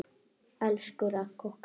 Elsku Ragga okkar.